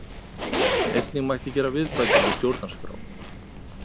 Einnig mætti gera viðbætur við stjórnarskrá